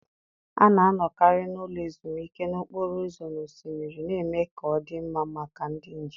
A na-anọkarị n'ụlọ ezumike n'okporo ụzọ na osimiri, na-eme ka ọ dị mma maka ndị njem